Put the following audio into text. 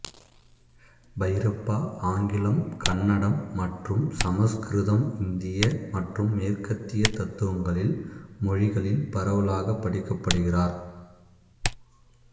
பைரப்பா ஆங்கிலம் கன்னடம் மற்றும் சமசுகிருதம்இந்திய மற்றும் மேற்கத்திய தத்துவங்களில் மொழிகளில் பரவலாகப் படிக்கப்படுகிறார்